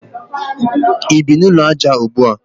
I bi n'ụlọ aja ugbua?